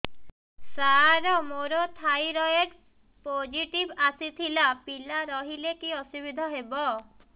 ସାର ମୋର thyroid positive ଆସିଥିଲା ପିଲା ରହିଲେ କି ଅସୁବିଧା ହେବ